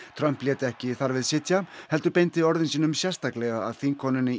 Trump lét ekki þar við sitja heldur beindi orðum sínum sérstaklega að þingkonunni